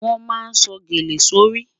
Wọn má sọ̀ gẹ̀lẹ̀ sọ́ rí.